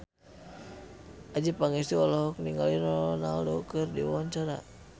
Adjie Pangestu olohok ningali Ronaldo keur diwawancara